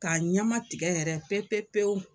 K'a ɲɛmatigɛ yɛrɛ pepe pewu.